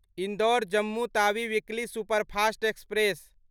Indore Jammu Tawi weekly superfast express